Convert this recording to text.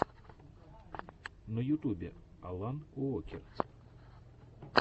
на ютюбе алан уокер